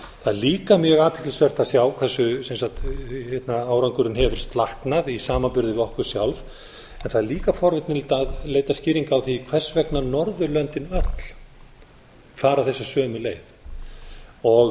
það er líka mjög athyglisvert að sjá hversu árangurinn hefur slaknað í samanburði við okkur sjálf það er líka forvitnilegt að leita skýringa á því hvers vegna norðurlöndin öll fara þessa sömu leið við